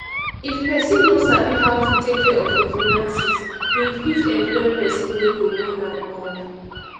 if person no sabi how to take care of im finances im fit employ person wey go run am um